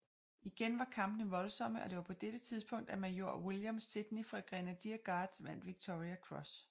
Igen var kampene voldsomme og det var på dette tidspunkt at major William Sidney fra Grenadier Guards vandt Victoria Cross